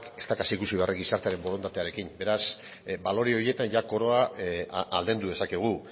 ez duela ikusi beharrik gizartearen borondatearekin beraz balore horietan jada koroa aldendu dezakegu